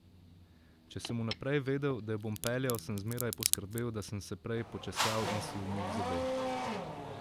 Če sem vnaprej vedel, da jo bom peljal, sem zmeraj poskrbel, da sem se prej počesal in si umil zobe.